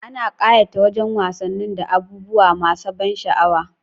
Ana ƙayata wajan wasannin da abubuwa masa ban sha'awa